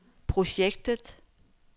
projektet